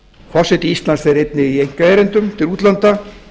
forseti íslands fer einnig í einkaerindum til útlanda